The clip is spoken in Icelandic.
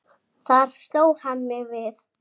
Þar sló hann mér við.